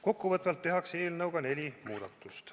Kokkuvõtvalt öeldes tehakse eelnõuga neli muudatust.